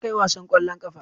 Kar ka yi wasan ƙwallon ƙafa.